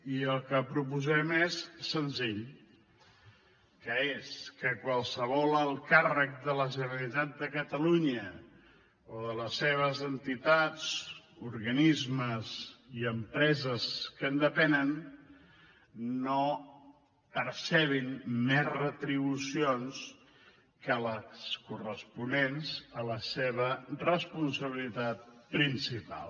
i el que proposem és senzill que és que qualsevol alt càrrec de la generalitat de catalunya o de les entitats organismes i empreses que en depenen no percebin més retribucions que les corresponents a la seva responsabilitat principal